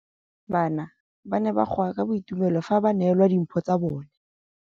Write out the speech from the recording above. Bana ba ne ba goa ka boitumelo fa ba neelwa dimphô tsa bone.